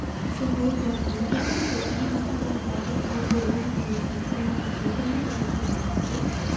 психологиялық көмек көрсету көптеген басқа дағдыларды жасау қолынан келуі тиіс сондай-ақ ол адамдарды өте жақсы